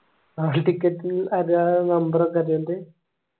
hall ticket ന്ന് number